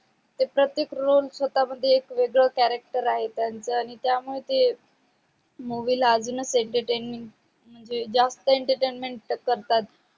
ते प्रतेक roll स्वता मध्ये एक वेगळ character आहे त्यांच आणि त्या मध्ये movie अजूनच entertainment म्हणजे जास्तच entertainment करतात